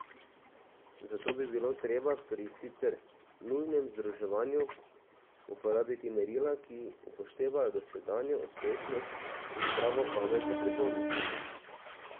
Zato bi bilo treba pri sicer nujnem združevanju uporabiti merila, ki upoštevajo dosedanjo uspešnost in zdravo pamet za prihodnost.